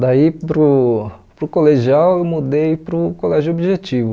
Daí para o para o colegial eu mudei para o Colégio Objetivo.